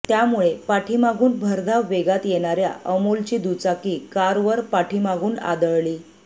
त्यामुळे पाठीमागून भरधाव वेगात येणार्या अमोलची दुचाकी कारवर पाठीमागून आदळली